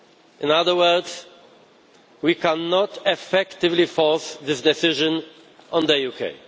In other words, we cannot effectively force this decision on the UK.